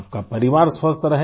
आपका परिवार स्वस्थ रहे